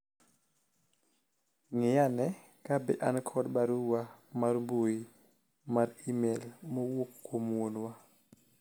ng'i ane kabe an kod barua mar mbui mar email mowuok kuom wuonwa